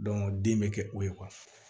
den bɛ kɛ o ye